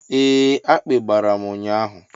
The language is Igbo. Ee akpị gbàrà m ụnyaahụ.